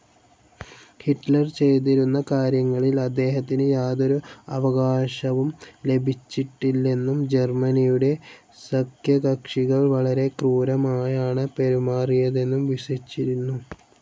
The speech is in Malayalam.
ഹിറ്റ്ലർ ചെയ്തിരുന്ന കാര്യങ്ങളിൽ അദ്ദേഹത്തിന് യാതൊരു അവകാശവും ലഭിച്ചിട്ടില്ലെന്നും ജർമനിയുടെ സഖ്യകക്ഷികൾ വളരെ ക്രൂരമായാണ് പെരുമാറിയതെന്നും വിശ്വസിച്ചിരുന്നു.